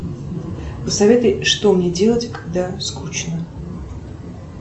посоветуй что мне делать когда скучно